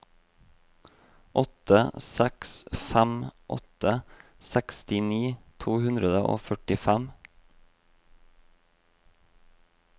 åtte seks fem åtte sekstini to hundre og førtifem